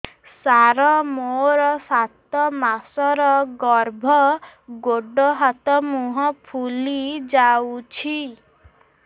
ସାର ମୋର ସାତ ମାସର ଗର୍ଭ ଗୋଡ଼ ହାତ ମୁହଁ ଫୁଲି ଯାଉଛି